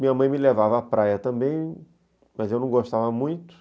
Minha mãe me levava à praia também, mas eu não gostava muito.